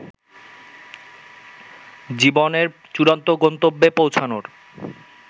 জীবনের চূড়ান্ত গন্তব্যে পৌঁছানোর